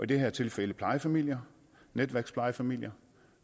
det her tilfælde plejefamilier netværksplejefamilier